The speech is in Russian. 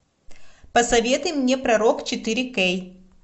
посоветуй мне пророк четыре кей